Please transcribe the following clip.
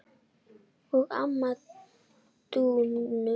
og ömmu Dúnu.